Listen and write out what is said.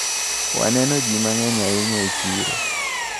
Waneno ji mang`eny ahinya e chiro.